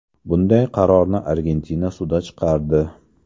Bunday qarorni Argentina sudi chiqardi.